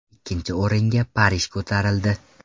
Ikkinchi o‘ringa Parij ko‘tarildi.